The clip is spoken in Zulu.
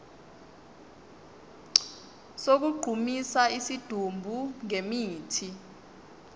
sokugqumisa isidumbu ngemithi